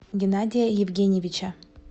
геннадия евгеньевича